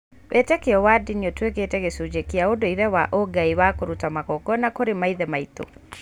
Wĩĩtĩkio wa ndini ũtuĩkĩte gĩcunjĩ kĩa ũndũire wa ũgai, ta kũruta magongona kũrĩ maithe maitũ.